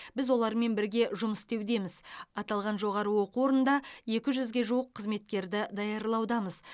біз олармен бірге жұмыс істеудеміз аталған жоғары оқу орнында екі жүзге жуық қызметкерді даярлаудамыз